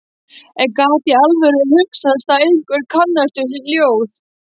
En gat í alvöru hugsast að einhver kannaðist við ljóð